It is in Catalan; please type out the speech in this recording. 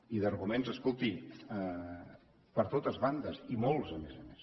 i d’arguments escolti per totes bandes i molts a més a més